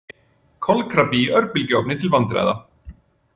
Kolkrabbi í örbylgjuofni til vandræða